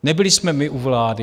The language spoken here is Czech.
Nebyli jsme my u vlády.